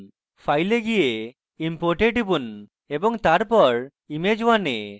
file এ যান import এ টিপুন এবং তারপর image1 এ